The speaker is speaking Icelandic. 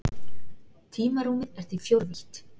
Tímarúmið er því fjórvítt.